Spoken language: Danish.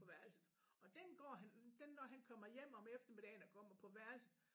På værelset og den går han den når han kommer hjem om eftermiddagen og kommer på værelset